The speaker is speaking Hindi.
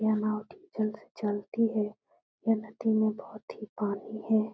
यह नाव डीज़ल से चलती है। यह नदी में बहोत ही पानी है।